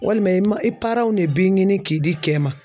Walima i ma i de b'i ɲini k'i di cɛ ma